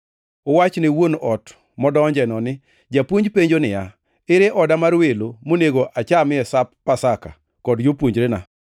Uwach ne wuon ot modonjeno ni, ‘Japuonj penjo niya, ere oda mar welo monego achamie Sap Pasaka kod jopuonjrena?’